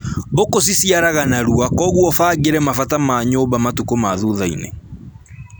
Mbũkũ ciciaraga narua koguo ũbangĩre mabata ma nyũmba matukũ ma thuthainĩ